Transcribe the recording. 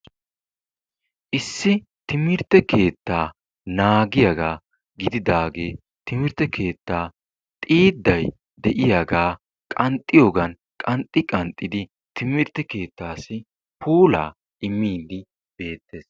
Issi timirtte keettaa naagiyaagaa giididaagee timirtte keettaa xiidday de'iyaagaa qanxxiyoogan qanxxi qanxxidi timirtte kettaassi puulaa immiidi beettees.